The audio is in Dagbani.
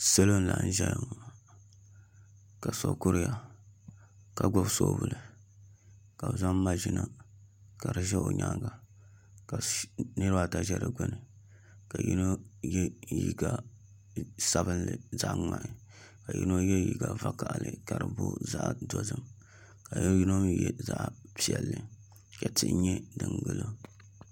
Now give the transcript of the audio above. Salo n laɣam ʒɛya ŋo ka so kuriya ka gbubi soobuli ka bi zaŋ maʒina ka di ʒɛ o nyaanga ka niraba ata ʒɛ digbuni ka yino yɛ liiga sabinli zaɣ ŋmahi ka yino yɛ liiga vakaɣali ka di booi zaɣ dozim ka yino mii yɛ zaɣ piɛlli ka tihi nyɛ din gilo